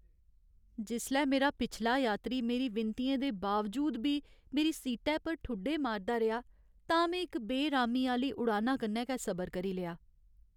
जिसलै मेरा पिछला यात्री मेरी विनतियें दे बावजूद बी मेरी सीटै पर ठुड्डे मारदा रेहा तां में इक बेरामी आह्‌ली उड़ाना कन्नै गै सबर करी लेआ।